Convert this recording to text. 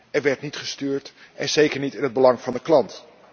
Er werd niet gestuurd en zeker niet in het belang van de klant.